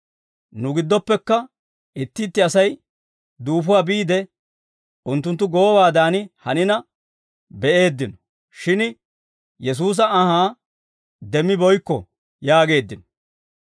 Nu giddoppekka itti itti Asay duufuwaa biide unttunttu goowaadan hanina be'eeddino; shin Yesuusa anhaa demmibeykkino» yaageeddino.